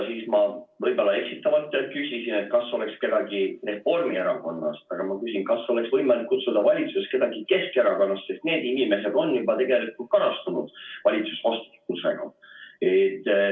Ma võib-olla eksitavalt küsisin, et kas oleks kedagi Reformierakonnast, aga ma küsin, kas oleks võimalik kutsuda siia valitsusest kedagi Keskerakonnast, sest need inimesed on juba karastunud valitsusvastutusega.